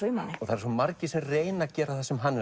í manni svo margir sem reyna að gera það sem hann